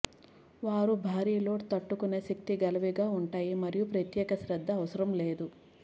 వారు భారీ లోడ్ తట్టుకొనే శక్తి గలవిగా ఉంటాయి మరియు ప్రత్యేక శ్రద్ధ అవసరం లేదు